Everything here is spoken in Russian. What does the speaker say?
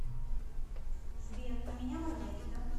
сбер а меня маргарита